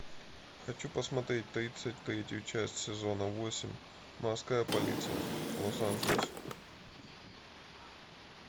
хочу посмотреть тридцать третью часть сезона восемь морская полиция лос анджелес